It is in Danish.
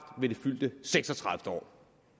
ved det fyldte seks og tredive år